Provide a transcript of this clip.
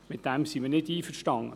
damit sind wir nicht einverstanden.